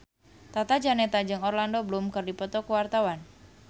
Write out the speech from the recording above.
Tata Janeta jeung Orlando Bloom keur dipoto ku wartawan